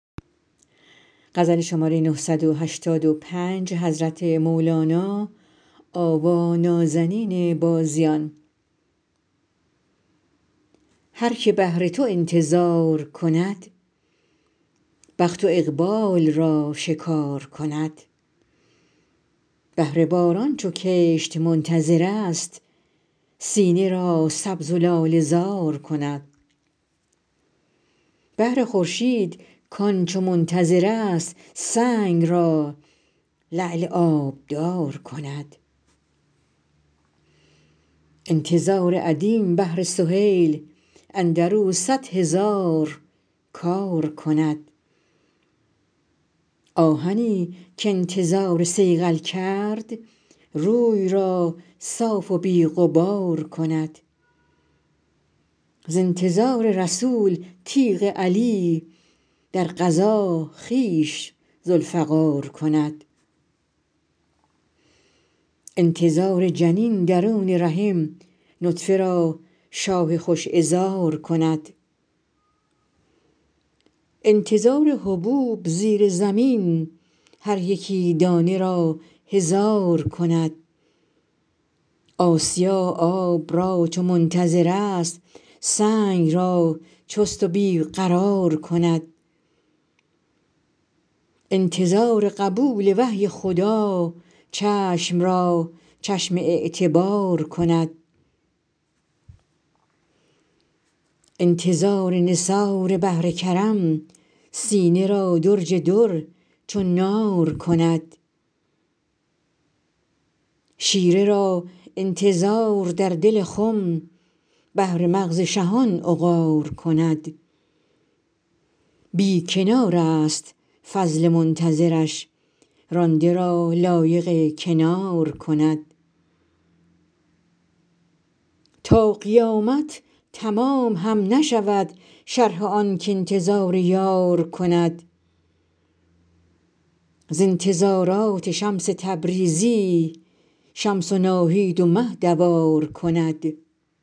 هر که بهر تو انتظار کند بخت و اقبال را شکار کند بهر باران چو کشت منتظر است سینه را سبز و لاله زار کند بهر خورشید کان چو منتظر است سنگ را لعل آبدار کند انتظار ادیم بهر سهیل اندر او صد هزار کار کند آهنی که انتظار صیقل کرد روی را صاف و بی غبار کند ز انتظار رسول تیغ علی در غزا خویش ذوالفقار کند انتظار جنین درون رحم نطفه را شاه خوش عذار کند انتظار حبوب زیر زمین هر یکی دانه را هزار کند آسیا آب را چو منتظر است سنگ را چست و بی قرار کند انتظار قبول وحی خدا چشم را چشم اعتبار کند انتظار نثار بحر کرم سینه را درج در چو نار کند شیره را انتظار در دل خم بهر مغز شهان عقار کند بی کنار ست فضل منتظر ش رانده را لایق کنار کند تا قیامت تمام هم نشود شرح آن که انتظار یار کند ز انتظارات شمس تبریزی شمس و ناهید و مه دوار کند